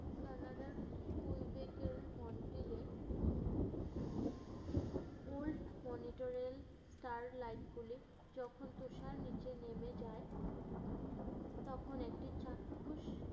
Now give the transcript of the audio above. Canada র এ old monitoral star light গুলি যখন তুষার নিচে নেমে যায়, তখন একটি চাক্ষুষ